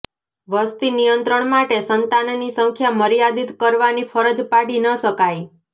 વસતિ નિયંત્રણ માટે સંતાનની સંખ્યા મર્યાદિત કરવાની ફરજ પાડી ન શકાય